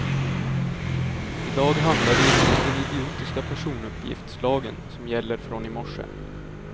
I dag handlar det inte om den idiotiska personuppgiftslagen som gäller från i morse.